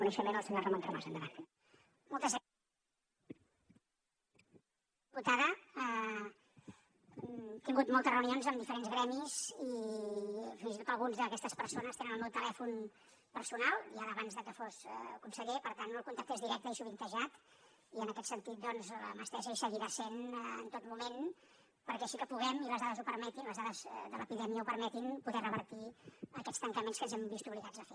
he tingut moltes reunions amb diferents gremis i fins i tot algunes d’aquestes persones tenen el meu telèfon personal ja d’abans de que fos conseller per tant el contacte és directe i sovintejat i en aquest sentit doncs la mà estesa hi seguirà sent en tot moment perquè així que puguem i les dades ho permetin les dades de l’epidèmia ho permetin poder revertir aquests tancaments que ens hem vist obligats a fer